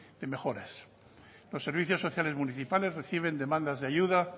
en mejoras los servicios sociales municipales reciben demandas de ayuda